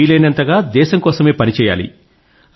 వీలయినంతగా దేశం కోసమే పని చెయ్యాలి